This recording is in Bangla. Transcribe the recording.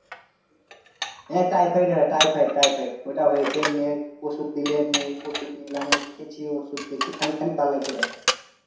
হ্যাঁ typhoid হয় typhoid typhoid ওটা হয়েছে ওষুধ দিলে নে ওষুধ নিলাম কি কি ওষুধ দিছে